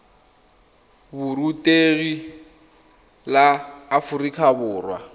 ya borutegi la aforika borwa